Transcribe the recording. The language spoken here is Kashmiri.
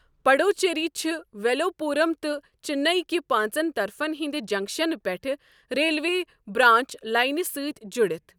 پڈوچیری چھ ویلوپورم تہٕ چننی کہ پانژن طرفن ہندِ جنكشن پٮ۪ٹھٕ ریلوے برانچ لاینہِ سٕتۍ جُڈِتھ ۔